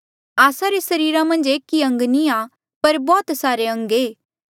आस्सा रे सरीरा मन्झ एक ई अंग नी आ पर बौह्त सारे अंग ऐें